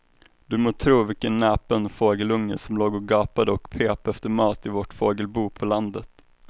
Du må tro vilken näpen fågelunge som låg och gapade och pep efter mat i vårt fågelbo på landet.